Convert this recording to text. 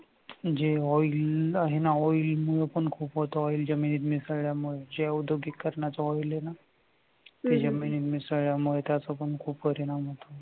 जे oiling आहे ना oil मुळे पण खूप होतं. oil जमिनीत मिसळल्यामुळे हे औद्योगीकरणाच oil आहे ना त्याच्यामुळे मिसळल्यामुळे त्याचा पण खूप परिणाम होतो.